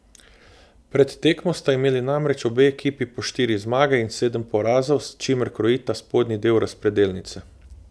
Pred tekmo sta imeli namreč obe ekipi po štiri zmage in sedem porazov, s čimer krojita spodnji del razpredelnice.